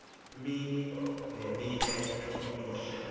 mini neminye imihla